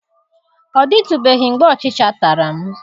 Ọ dịtụbeghị mgbe ọchịcha tara m.